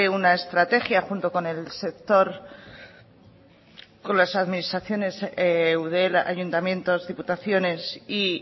una estrategia junto con el sector con las administraciones con eudel ayuntamientos diputaciones y